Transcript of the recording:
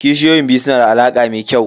Kishiyoyin biyu su na da alaƙa mai kyau.